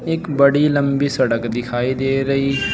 एक बड़ी लंबी सड़क दिखाई दे रही हैं।